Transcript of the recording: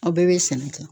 Aw bɛɛ bɛ sɛnɛ kɛ